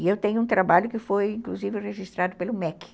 E eu tenho um trabalho que foi, inclusive, registrado pelo mequi